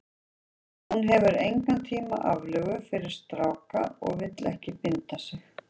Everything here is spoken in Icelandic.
Hún hefur engan tíma aflögu fyrir stráka og vill ekki binda sig.